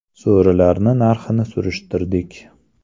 So‘rilarni narxini surishtirdik.